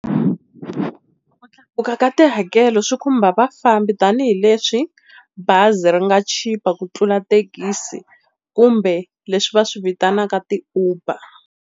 Ku tlakuka ka tihakelo swi khumba vafambi tanihileswi bazi ri nga chipa ku tlula thekisi kumbe leswi va swi vitanaka ti-Uber.